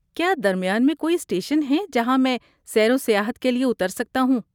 کیا درمیان میں کوئی اسٹیشن ہیں جہاں میں سیر و سیاحت کے لیے اتر سکتا ہوں؟